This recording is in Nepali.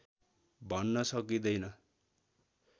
भन्न सकिँदैन